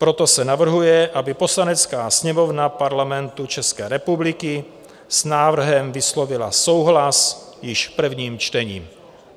Proto se navrhuje, aby Poslanecká sněmovna Parlamentu České republiky s návrhem vyslovila souhlas již v prvním čtení.